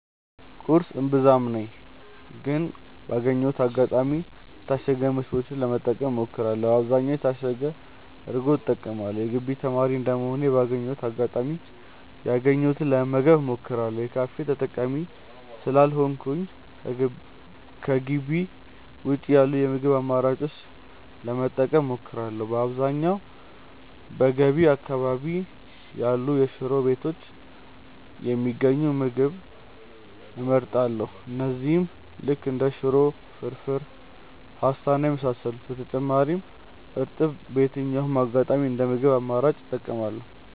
ቁርስ እምብዛም ነኝ ግን ባገኘሁት አጋጣሚ የታሸጉ ምግቦችን ለመጠቀም እሞክራለው በአብዛኛውም የታሸገ እርጎ እጠቀማለው። የግቢ ተማሪ እንደመሆኔ ባገኘሁት አጋጣሚ ያገኘሁትን ለመመገብ እሞክራለው። የካፌ ተጠቃሚ ስላልሆንኩኝ ከጊቢ ውጪ ያሉ የምግብ አማራጮችን ለመጠቀም እሞክራለው። በአብዛኛውም በገቢ አካባቢ ያሉ ሽሮ ቤቶች የሚገኙ ምግቦች እጠቀማለው እነዚህም ልክ እንደ ሽሮ፣ ፍርፉር፣ ፖስታ እና የመሳሰሉት። በተጨማሪም እርጥብ በየትኛውም አጋጣሚ እንደ ምግብ አማራጭ እጠቀማለው።